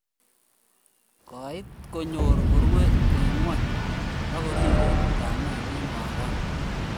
koit konyor korue engingweny, akorire kamenyi wakat